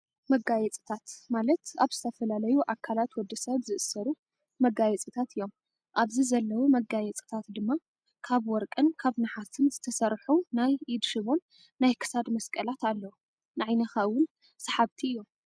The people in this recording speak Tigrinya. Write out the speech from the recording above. መጋየፅታት፦ ማለት ኣብ ዝተፈላለዩ ኣካላት ወዲሰብ ዝእሰሩ መጋየፅታት እዮም፤ ኣብዚ ዘለው መጋየፅታት ድማ ካብ ወርቅን ካብ ነሓስን ዝተሰርሑ ናይ ኢድ ሽቦን ናይ ክሳድ መስቀላት ኣለው። ንዓይንካ እውም ሰሓብቲ እዮም።